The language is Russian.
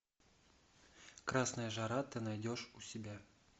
красная жара ты найдешь у себя